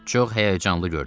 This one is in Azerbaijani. Çox həyəcanlı görünürdü.